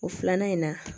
O filanan in na